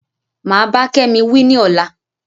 Mà bá Kémi wí ni ọ̀la